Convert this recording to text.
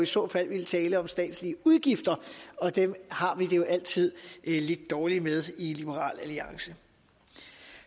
så fald er tale om statslige udgifter og dem har vi det jo altid lidt dårligt med i liberal alliance